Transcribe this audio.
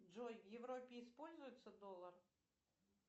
джой в европе используется доллар